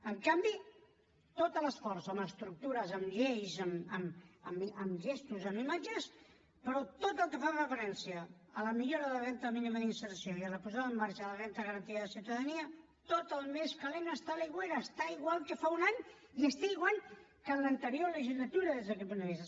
en canvi tot l’esforç en estructures en lleis en gestos en imatges però tot el que fa referència a la millora de la renda mínima d’inserció i a la posada en marxa de la renda garantida de ciutadania tot el més calent està a l’aigüera està igual que fa un any i està igual que en l’anterior legislatura des d’aquest punt de vista